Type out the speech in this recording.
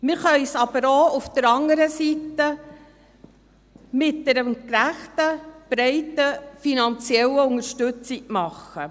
Wir können dies auf der anderen Seite aber auch mit einer gerechten und breiten finanziellen Unterstützung tun.